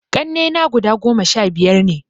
Ƙannena guda goma sha biyar ne